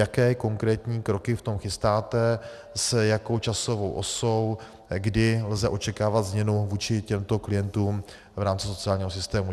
Jaké konkrétní kroky v tom chystáte, s jakou časovou osou, kdy lze očekávat změnu vůči těmto klientům v rámci sociálního systému.